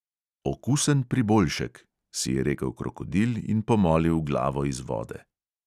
"Okusen priboljšek," si je rekel krokodil in pomolil glavo iz vode.